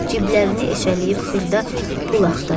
Ciblərini eşələyib xırda pul axtardı.